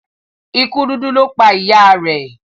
ikú dúdú lọ pá ìyá rẹ.